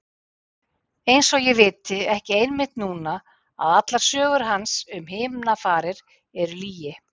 Og einsog ég viti ekki einmitt núna að allar sögur hans um himnafarir eru lygi.